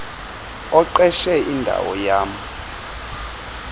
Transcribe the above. oqeshe indawo yam